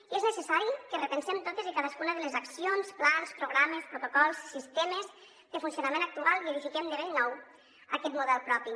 i és necessari que repensem totes i cadascuna de les accions plans programes protocols sistemes de funcionament actuals i edifiquem de bell nou aquest model propi